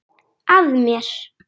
Að mér.